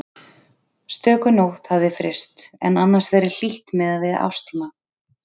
Stöku nótt hafði fryst en annars verið hlýtt miðað við árstíma.